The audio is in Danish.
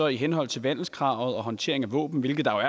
i henhold til vandelskravet og håndtere våben hvilke der